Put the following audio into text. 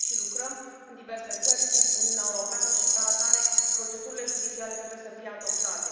Trăim și lucrăm în diverse țări din Uniunea Europeană și, ca atare, procedurile judiciare trebuie să fie adoptate.